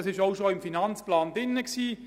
Das war bereits im Finanzplan vorgesehen: